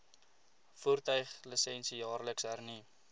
voertuiglisensie jaarliks hernu